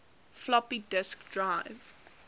floppy disk drive